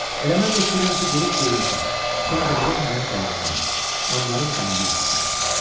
Elə mən də istəyirəm ki, durub geyinəsən, sonra da gedək mənim dəyirmanıma, anbarın damını örtəsən.